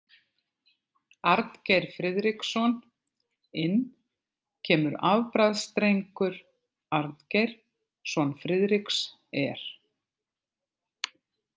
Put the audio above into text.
Arngeir Friðriksson Inn kemur afbragðsdrengur Arngeir son Friðriks er.